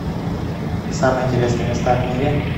самые интересные места в мире